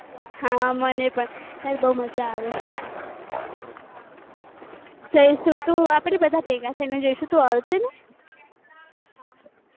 હા મને પણ યાર બાકૂ મજા આવે છે આપણે બધા ભેગા થઈ ને જઈશું તું આવશે ને